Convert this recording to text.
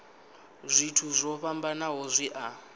zwithu zwo fhambanaho zwi a